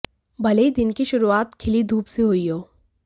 भले ही दिन की शुरूआत खिली धूप से हुई हो